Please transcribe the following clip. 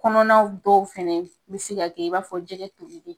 Kɔnɔnaw dɔw fɛnɛ bɛ se ka kɛ i b'a fɔ jɛgɛ tolilen.